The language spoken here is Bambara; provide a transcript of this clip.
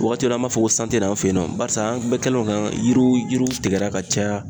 Waati dɔ la an b'a fɔ ko an fɛ yen nɔ barisa an kun bɛ kɛnɛw kan yiriw yiriw tigɛra ka caya